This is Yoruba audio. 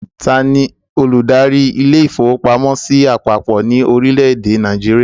Taani olùdarí ilé-ìfowópamọ́sí àpapọ̀ ni orílẹ̀ èdè Nàìjíríà?